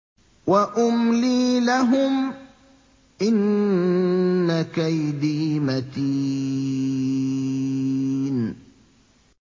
وَأُمْلِي لَهُمْ ۚ إِنَّ كَيْدِي مَتِينٌ